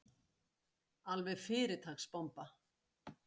Alveg fyrirtaks bomba.